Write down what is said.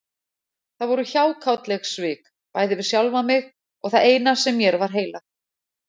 Það voru hjákátleg svik, bæði við sjálfan mig og það eina sem mér var heilagt.